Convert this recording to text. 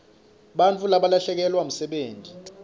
bantfu balahlekelwa msebenti